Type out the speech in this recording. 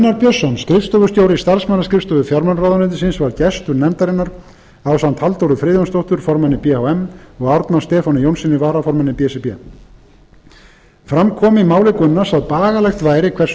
björnsson skrifstofustjóri starfsmannaskrifstofu fjármálaráðuneytisins var gestur nefndarinnar ásamt halldóru friðjónsdóttur formanni b h m og árna stefáni jónssyni varaformanni b s r b fram kom í máli gunnars að bagalegt væri hversu